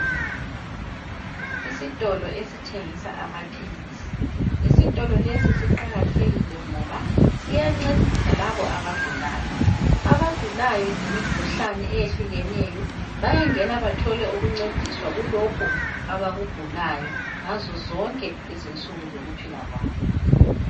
Isitolo esithengisa amaphilisi, isitolo lesi siqakathekile ngoba siyancedisa labo abagulayo. Abagulayo ngemikhuhlane eyehlukeneyo bayangena bathole ukuncediswa kulokho abakugulayo ngazozonke izinsuku zokuphila kwabo.